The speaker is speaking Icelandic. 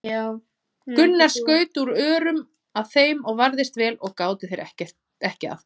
Gunnar skaut út örum að þeim og varðist vel og gátu þeir ekki að gert.